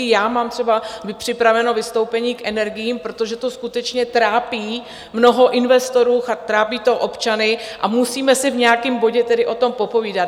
i já mám třeba připraveno vystoupení k energiím, protože to skutečně trápí mnoho investorů a trápí to občany a musíme si v nějakém bodě tedy o tom popovídat.